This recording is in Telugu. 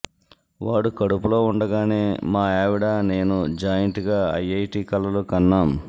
వాడు కడుపులో ఉండగానే మా ఆవిడ నేను జాయింట్గా ఐఐటి కలలు కన్నాం